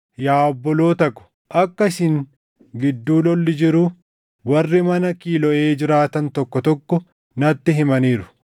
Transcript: Yaa obboloota ko, akka isin gidduu lolli jiru warri mana Kiloʼee jiraatan tokko tokko natti himaniiru.